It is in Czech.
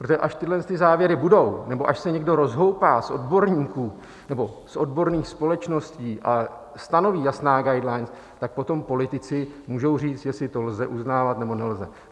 Protože až tyhle závěry budou, nebo až se někdo rozhoupá z odborníků nebo z odborných společností a stanoví jasná guidelines, tak potom politici můžou říct, jestli to lze uznávat, nebo nelze.